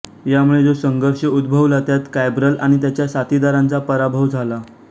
यामुळे जो संघर्ष उद्भवला त्यात कॅब्रल आणि त्याच्या साथीदारांचा पराभव झाला